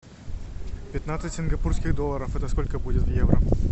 пятнадцать сингапурских долларов это сколько будет в евро